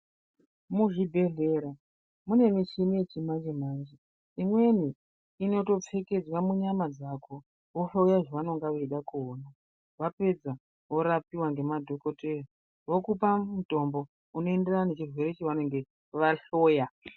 Muzvibhedhlera mune michini yechimanje manje imweni inotopfekedzwa munyama dzako vohloya zvavanenge vaida kuona vapedza worapiwa ngemadhokodheya vokupa mutombo unoenderana nechirwere chavanenge vahloya.